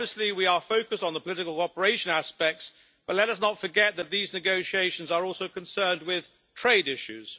We are focused on the political operation aspects but let us not forget that these negotiations are also concerned with trade issues.